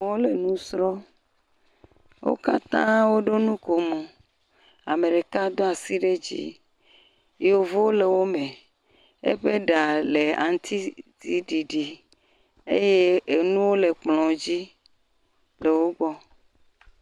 Wole nu srɔ̃m. Wo katã woɖo nukomo. Ame ɖeka do asi ɖe dzi. Yevo le wome. Eƒe ɖa le aŋutisiɖiɖi. Eye enuwo le kplɔ̃dzi le wogbɔ.